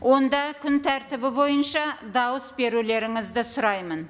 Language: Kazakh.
онда күн тәртібі бойынша дауыс берулеріңізді сұраймын